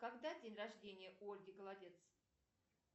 когда день рождения у ольги голодец